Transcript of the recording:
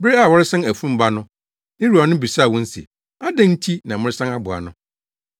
Bere a wɔresan afurum ba no, ne wuranom bisaa wɔn se, “Adɛn nti na moresan aboa no?”